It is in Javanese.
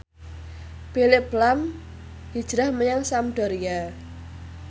Phillip lahm hijrah menyang Sampdoria